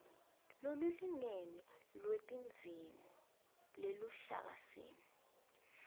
lolulingene lwetidzingo yeluhlakasimo